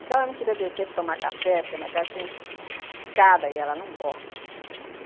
O que ela não queria descer para tomar café, porque a minha casa tem escada e ela não gosta.